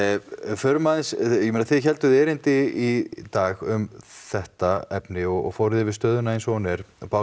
förum aðeins ég meina þið hélduð erindi í dag um þetta efni og fóruð yfir stöðuna eins og hún er